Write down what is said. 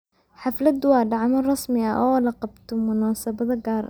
Xafladu waa dhacdo rasmi ah oo loo qabto munaasabado gaar ah.